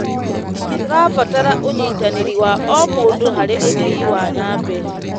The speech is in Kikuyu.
Tũrabatara ũnyitanĩri wa o mũndũ harĩ ũthii wa na mbere.